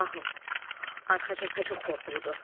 Şahım, arxa cəbhə çox qorxuludur.